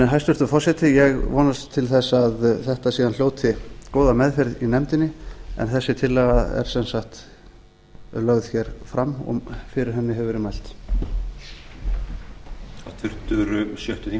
hæstvirtur forseti ég vonast til þess að þetta hljóti síðan góða meðferð í nefndinni en þessi tillaga er sem sagt lögð hér fram og fyrir henni hefur verið mælt